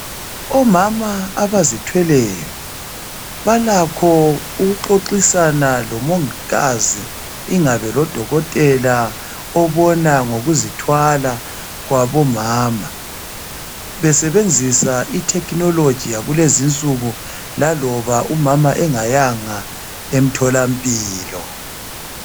Omama abazithweleyo, balakho ukuxoxisana lomongikazi ingabe lodokotela obona ngokuzithwala kwabomama besebenzisa ithekhinoloji yakulezinsuku laloba umama engayanga emtholampilo.